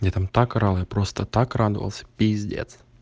я там так орал я просто так радовался пиздец